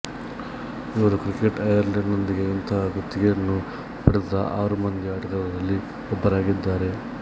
ಇವರು cricket Ireland ನೊಂದಿಗೆ ಇಂತಹ ಗುತ್ತಿಗೆಯನ್ನು ಪಡೆದ ಆರು ಮಂದಿ ಆಟಗಾರರಲ್ಲಿ ಒಬ್ಬರಾಗಿದ್ದಾರೆ